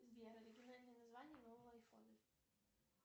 сбер оригинальное название нового айфона